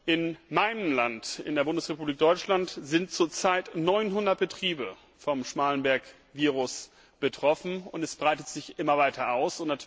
In meinem Land, der Bundesrepublik Deutschland, sind zur Zeit neunhundert Betriebe vom Schmallenberg Virus betroffen, und es breitet sich immer weiter aus.